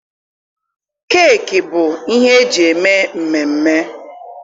Keeki bụ ihe eji eme mmemme.